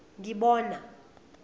ngibona